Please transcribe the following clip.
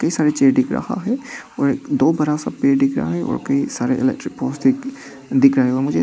कई सारे चेयर दिख राहा है और दो बड़ा सा पेड़ दिख रहा है और कई सारे इलेक्ट्रिक पोल्स दिख दिख रहे हैं और मुझे --